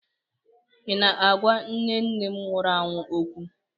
Ị na-agwa nne nne nne m nwụrụ anwụ okwu?